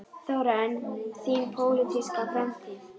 Þóra: En þín pólitíska framtíð?